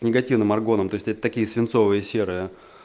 негативным аргоном то есть это такие свинцовые серые